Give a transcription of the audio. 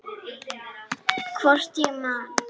Hvort ég man.